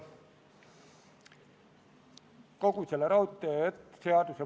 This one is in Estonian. Kõnesoove ei ole.